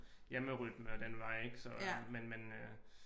Hjemmerytme og den vej ik så øh men men øh